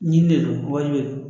Ɲi le don wali de don